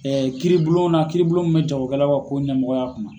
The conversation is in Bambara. kiiribulonna kiiribulon min bɛ jagokɛlaw ka ko ɲɛmɔgɔya kunna.